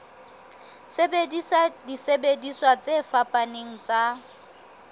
sebedisa disebediswa tse fapaneng tsa